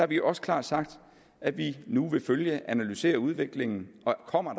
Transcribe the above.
vi også klart sagt at vi nu vil følge og analysere udviklingen og kommer